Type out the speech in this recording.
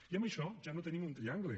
i amb això ja no tenim un triangle